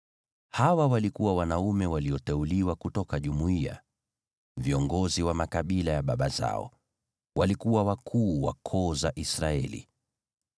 Hawa walikuwa wanaume walioteuliwa kutoka jumuiya, viongozi wa makabila ya baba zao. Walikuwa wakuu wa koo za Israeli.